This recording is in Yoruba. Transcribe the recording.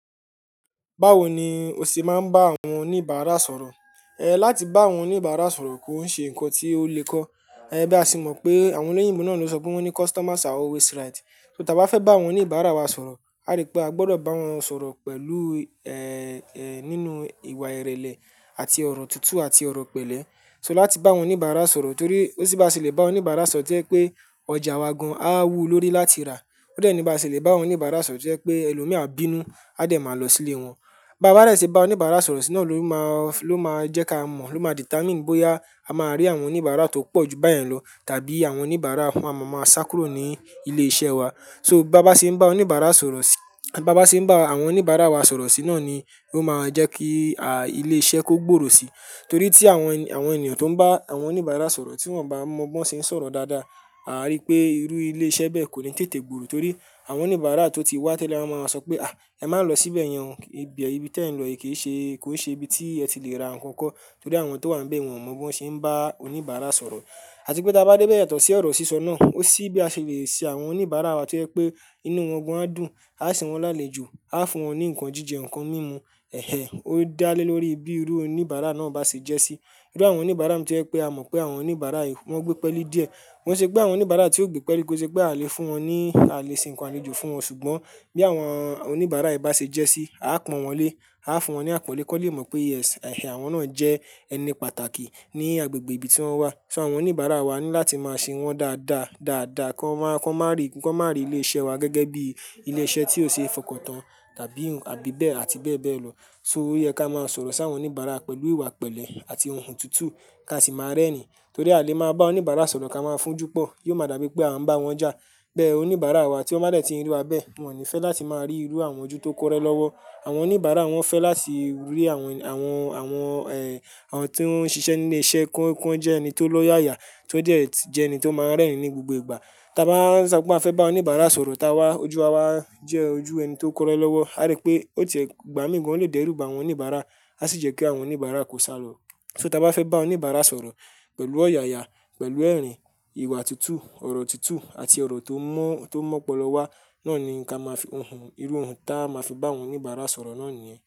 Báwo ni o ṣe máa ń bá àwọn oníbàárà sọ̀rọ̀? Láti bá àwọn oníbàárà sọ̀rọ̀, kó ṣe nǹkan tí ó le kọ́. Bí a ṣe mọ̀ pé àwọn olóyìnbo náà ló sọ pé wọ́n ní "customers are always right". So, tí a bá fẹ́ bá àwọn oníbàárà wa sọ̀rọ̀, a rí pé a gbọdọ̀ bá wọn sọ̀rọ̀ pẹ̀lú, nínú ìwà ìrẹ̀lẹ̀ àti ọ̀rọ̀ tuntun àti ọ̀rọ̀ pẹ̀lẹ́. So, láti bá àwọn oníbàárà sọ̀rọ̀ torí ó nì bá ṣe lè bá oníbàárà sọ̀rọ̀ tí o je pé ọjà wa gan-an á wú lórí láti rà. Ó dẹ̀ ní bá ṣe lè bá oníbàárà sọ̀rọ̀ tí o je pé ẹlòmíràn bínú, a dẹ̀ máa lọ sí ilé wọn. Bába dẹ tí ń bá oníbàárà sọ̀rọ̀ sì ló máa jẹ́ ká mọ̀, ló máa je ka determine bóyá a máa rí àwọn oníbàárà tó pọ̀ jù báyẹn lọ, tàbí àwọn oníbàárà wọn máa sá kúrò ní ilé iṣẹ́ wa. So báa bá ṣe ń bá oníbàárà sọ̀rọ̀ sí, báa bá ṣe ń bá àwọn oníbàárà wa sọ̀rọ̀ sí náà ni ló máa jẹ́ kí ilé iṣẹ́ kó gbòòrò sí. Torí tí àwọn ènìyàn tó ń bá àwọn oníbàárà sọ̀rọ̀ tí wọ́n bá mọ bí wọ́n ṣe ń sọ̀rọ̀ dáadáa, àá rí pé irú ilé iṣẹ́ bẹ́ẹ̀ kò ní tètè gbòòrò. Torí àwọn oníbàárà tó ti wá tẹ́lẹ̀ a máa sọ pé "ẹ má lọ síbẹ̀ yẹn, ibi tí ẹ̀ ń lọ yìí kò ṣe ibi tí ẹ ti lè ra nǹkan kan." Torí àwọn tó wà níbẹ̀, wọn ò mọ bí wọ́n ṣe ń bá oníbàárà sọ̀rọ̀. Àti pé tí a bá dé bẹ́ẹ̀ yàtọ̀ sí ọ̀rọ̀ sísọ náà, ó sì bí a ṣe lè ṣe àwọn oníbàárà wa tí ẹ pé inú wọn gan-an dùn, a sì wọn lálejò, a fún wọn ní nǹkan jíjẹ, nǹkan mímu, ó dá lé lórí bí irú oníbàárà náà bá ṣe jẹ́ sí. Irú àwọn oníbàárà mi tí o je pé a mọ̀ pé àwọn oníbàárà yìí wọ́n gbé pẹ́le díẹ̀. Ko ṣe pé àwọn oníbàárà tí ó gbé pẹ́li, ko ṣe pé a lè ṣe nǹkan àlejò fún wọn. Ṣùgbọ́n bí àwọn oníbàárà yìí bá ṣe jẹ́ sí, a á pọ̀n wọ́n lé, a á fún wọn ní àpọ́nlé kí wọ́n lè mọ̀ pé "yes", àwọn náà jẹ́ ẹni pàtàkì ní agbègbè ibi tí wọ́n wà. So, àwọn oníbàárà wa ní láti máa ṣe wọ́n dáadáa, kí wọ́n má rí ilé iṣẹ́ wa gẹ́gẹ́ bí ilé iṣẹ́ tí ò ṣe é fọkàn tán àti bẹ́ẹ̀ bẹ́ẹ̀ lọ. So, ó yẹ ka á máa sọ̀rọ̀ sáwọn oníbàárà pẹ̀lú ìwà pẹ̀lẹ́ àti ohùn tuntun ka a sì máa rẹ́ni. Torí a lè máa bá oníbàárà sọ̀rọ̀ ká máa fún-ún júpọ̀, yóò máa dàbí pé à ń bá wọn jà. Bẹ́ẹ̀ oníbàárà wa tí wọ́n bá dẹ́ ti rí wa bẹ́ẹ̀, wọn ò ní fẹ́ láti máa rí irú àwọn ojú tó kọ́rẹ́ lọ́wọ́. Àwọn oníbàárà wọn fẹ́ láti rí àwọn tí ó ń ṣiṣẹ́ ní ilé iṣẹ́ kan jẹ́ ẹni tó lọ́yàyà, tó jẹ́ ẹni tó máa ń rẹ́ni ní gbogbo ìgbà. Ta bá ń sọ pé a fẹ́ ba oníbàrà sọ̀rọ̀, ojuwa wa kore lọ́wọ́ pé a fẹ́ bá oníbàárà sọ̀rọ̀.